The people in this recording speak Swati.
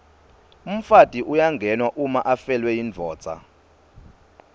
umfati uyangenwa uma afelwe yindvodza